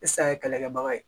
ye kɛlɛkɛbaga ye